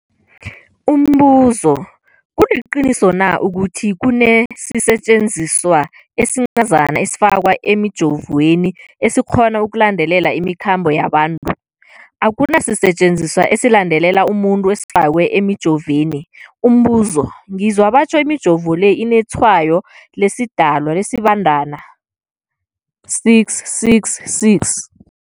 Umbuzo, kuliqiniso na ukuthi kunesisetjenziswa esincazana esifakwa emijovweni, esikghona ukulandelela imikhambo yabantu? Akuna sisetjenziswa esilandelela umuntu esifakwe emijoveni. Umbuzo, ngizwa batjho imijovo le inetshayo lesiDalwa, lesiBandana 666.